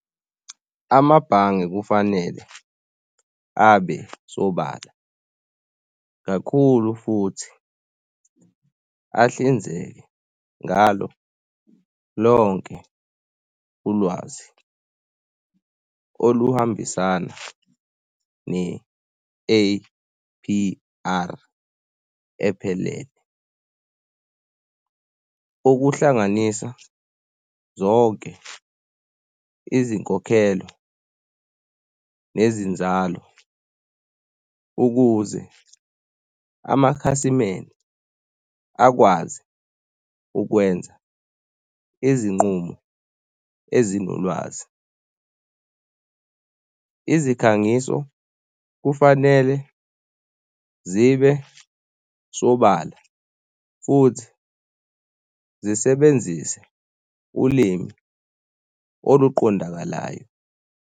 Amabhange kufanele abe sobala kakhulu futhi ahlinzeke ngalo lonke ulwazi oluhambisana ne-A_P_R ephelele. Ukuhlanganisa zonke izinkokhelo nezinzalo ukuze amakhasimende akwazi ukwenza izinqumo ezinolwazi, izikhangiso kufanele zibe sobala futhi zisebenzise ulimi oluqondakalayo.